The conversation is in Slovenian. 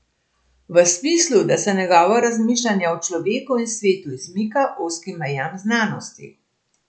V smislu, da se njegovo razmišljanje o človeku in svetu izmika ozkim mejam znanosti.